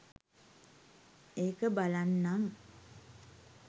ඒක බලන්නනම්.